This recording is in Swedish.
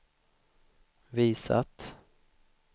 visat